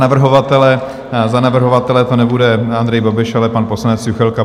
Dobrá, tak za navrhovatele to nebude Andrej Babiš, ale pan poslanec Juchelka.